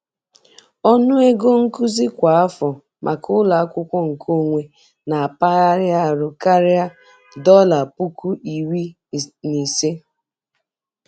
Ọnụ ego nkuzi kwa afọ maka ụlọ akwụkwọ nkeonwe na mpaghara ahụ karịrị $15,000.